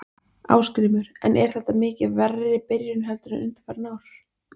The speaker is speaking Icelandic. Ásgrímur: En er þetta mikið verri byrjun heldur en undanfarin ár?